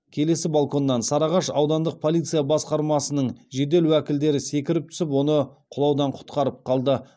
келесі балконнан сарыағаш аудандық полиция басқармасының жедел уәкілдері секіріп түсіп оны құлаудан құтқарып қалды